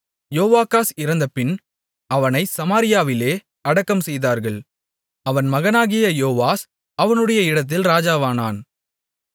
யோவாகாஸ் இறந்தபின் அவனைச் சமாரியாவிலே அடக்கம்செய்தார்கள் அவன் மகனாகிய யோவாஸ் அவனுடைய இடத்தில் ராஜாவானான்